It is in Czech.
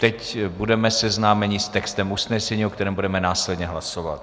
Teď budeme seznámeni s textem usnesení, o kterém budeme následně hlasovat.